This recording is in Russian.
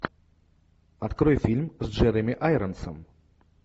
открой фильм с джереми айронсом